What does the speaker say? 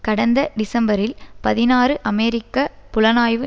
கடந்த டிசம்பரில் பதினாறு அமெரிக்க புலனாய்வு